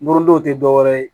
Morondon tɛ dɔwɛrɛ ye